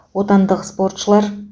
отандық спортшылар